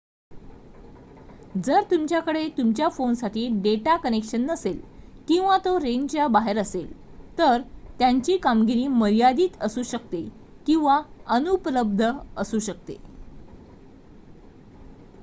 जर तुमच्याकडे तुमच्या फोनसाठी डेटा कनेक्शन नसेल किंवा तो रेंजच्या बाहेर असेल तर त्यांची कामगिरी मर्यादित असू शकते किंवा अनुपलब्ध असू शकते